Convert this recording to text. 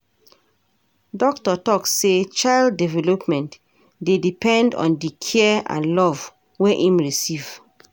Doctor tok sey child development dey depend on di care and love wey im receive.